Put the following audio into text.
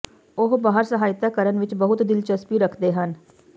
ਉਹ ਬਾਹਰ ਸਹਾਇਤਾ ਕਰਨ ਵਿੱਚ ਬਹੁਤ ਦਿਲਚਸਪੀ ਰੱਖਦੇ ਹਨ